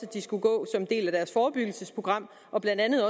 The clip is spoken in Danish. de skulle gå til en del af deres forebyggelsesprogram og blandt andet